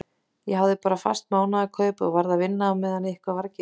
Ég hafði bara fast mánaðarkaup en varð að vinna á meðan eitthvað var að gera.